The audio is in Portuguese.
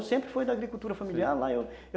Eu sempre fui da agricultura familiar lá.